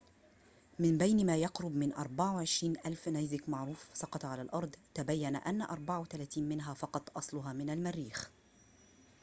من بين ما يقرب من 24,000 نيزك معروف سقط على الأرض تبين أنّ 34 منها فقط أصلها من المريخ